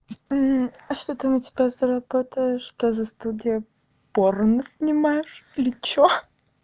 а что там у тебя за работа что за студия порно снимаешь или что ха-ха